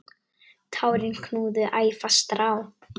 Tárin knúðu æ fastar á.